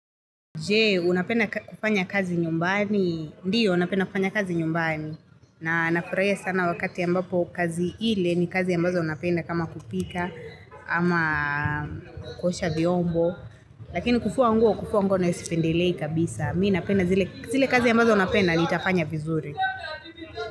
Je, unapenda kufanya kazi nyumbani. Ndiyo, napenda kufanya kazi nyumbani. Na nafurahia sana wakati ambapo kazi ile ni kazi ambazo napenda kama kupika ama kuosha vyombo. Lakini kufua nguo, kufua nguo nayosipendelei kabisa. Mii napenda zile kazi ambazo unapenda nitafanya vizuri.